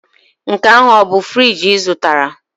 Nke ahụ ọ bụ friji ị zụtara?